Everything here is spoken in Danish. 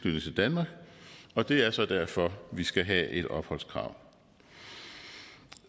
danmark og det er så derfor vi skal have et opholdskrav